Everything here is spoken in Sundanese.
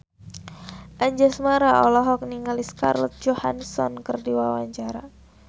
Anjasmara olohok ningali Scarlett Johansson keur diwawancara